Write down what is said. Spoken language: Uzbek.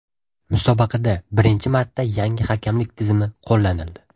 Musobaqada birinchi marta yangi hakamlik tizimi qo‘llanildi.